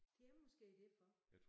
Det er måske derfor